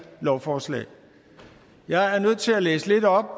lovforslag jeg er nødt til at læse lidt op